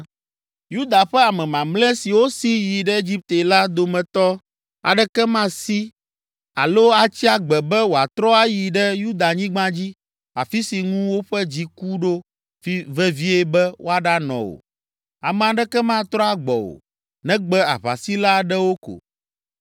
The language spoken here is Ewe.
Yuda ƒe ame mamlɛ siwo si yi ɖe Egipte la dometɔ aɖeke masi alo atsi agbe be wòatrɔ ayi ɖe Yudanyigba dzi, afi si ŋu woƒe dzi ku ɖo vevie be woaɖanɔ o; ame aɖeke matrɔ agbɔ o, negbe aʋasila aɖewo ko.”